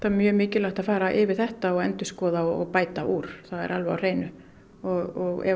mjög mikilvægt að fara yfir þetta og endurskoða og bæta úr það er alveg á hreinu og ef